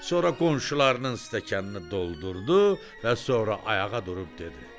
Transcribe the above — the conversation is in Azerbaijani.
Sonra qonşularının stəkanını doldurdu və sonra ayağa durub dedi.